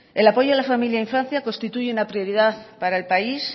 el apoyo a la familia e infancia constituye una prioridad para el país